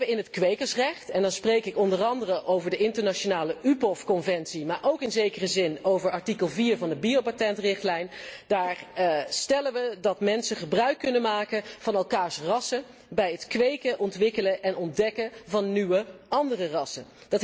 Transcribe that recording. In het kwekersrecht en dan spreek ik onder andere over de internationale UPOV conventie, maar ook over artikel 4 van de biopatentrichtlijn stellen we dat mensen gebruik kunnen maken van elkaars rassen bij het kweken, ontwikkelen en ontdekken van nieuwe andere rassen.